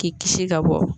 K'i kisi ka bɔ